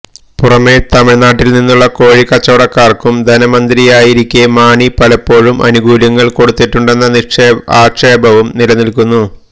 പുറമെ തമിഴ്നാട്ടില്നിന്നുള്ള കോഴിക്കച്ചവടക്കാര്ക്കും ധനമന്ത്രിയായിരിക്കെ മാണി പലപ്പോഴും ആനുകൂല്യങ്ങള് കൊടുത്തിട്ടുണ്ടെന്ന ആക്ഷേപവും നിലനില്ക്കുന്നു